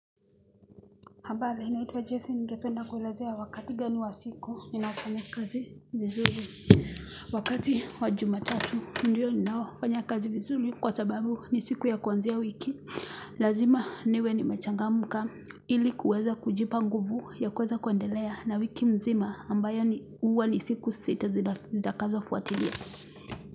Ambali, inaitwa Jason ngependa kuwaelezea wakati gani wa siku, ninayo fanya kazi vizuri, wakati wa juma tatu, ndiyo ninao kanya kazi vizuri kwa sababu ni siku ya kuanzia wiki, lazima niwe nimechanga ka, ili kuweza kujipa nguvu ya kuweza kuandelea na wiki mzima ambayo huwa ni siku sita zitakazo fuatilia.